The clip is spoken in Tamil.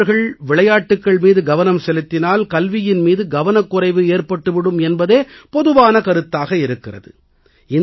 மாணவர்கள் விளையாட்டுக்கள் மீது கவனம் செலுத்தினால் கல்வியின் மீது கவனக்குறைவு ஏற்பட்டு விடும் என்பதே பொதுவான கருத்தாக இருக்கிறது